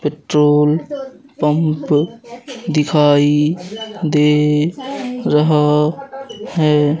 Petrol pump दिखाई दे रहा है।